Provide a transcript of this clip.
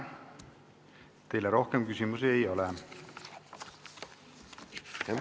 Teile rohkem küsimusi ei ole.